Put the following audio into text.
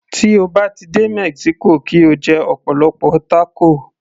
Tí o bá ti dé mexico kí o jẹ ọ̀pọ̀lọpọ̀ tákò